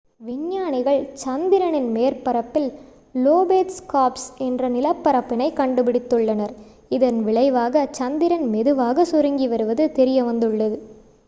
விஞ்ஞானிகள் சந்திரனின் மேற்பரப்பில் லோபேட் ஸ்கார்ப்ஸ் என்ற நிலப்பரப்பினை கண்டுபிடித்துள்ளனர் இதன் விளைவாக சந்திரன் மெதுவாக சுருங்கி வருவது தெரியவந்துள்ளது